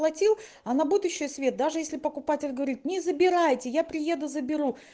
платил а на будущее свет даже если покупатель говорит не забирайте я приеду заберу